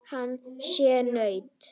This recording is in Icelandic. Hann sé naut.